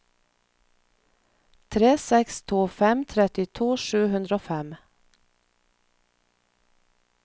tre seks to fem trettito sju hundre og fem